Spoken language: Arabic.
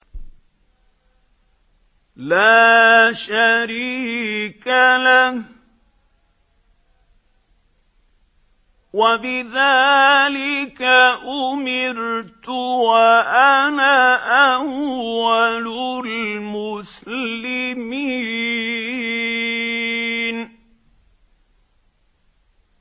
لَا شَرِيكَ لَهُ ۖ وَبِذَٰلِكَ أُمِرْتُ وَأَنَا أَوَّلُ الْمُسْلِمِينَ